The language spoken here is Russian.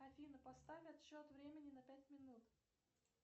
афина поставь отсчет времени на пять минут